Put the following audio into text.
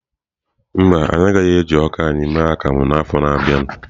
Mba, anyị agaghị eji ọka anyị eme akamu n'afọ a na-abịa.